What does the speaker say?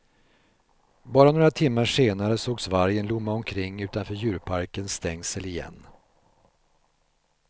Bara några timmar senare sågs vargen lomma omkring utanför djurparkens stängsel igen.